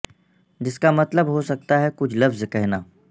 جس کا مطلب ہو سکتا ہے کچھ لفظ کہنا